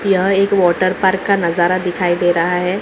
यह एक water park का नज़ारा दिखाई दे रहा है।